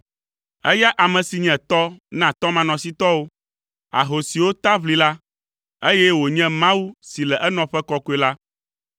eya ame si nye tɔ na tɔmanɔsitɔwo, ahosiwo ta ʋlila, eye wònye Mawu si le enɔƒe kɔkɔe la.